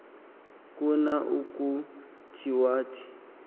khona ukuthi wathi